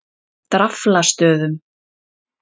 Draflastöðum